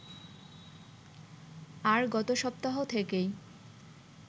আর গত সপ্তাহ থেকেই